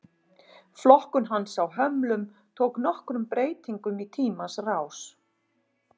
Flokkun hans á hömlum tók nokkrum breytingum í tímans rás.